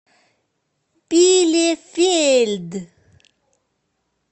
билефельд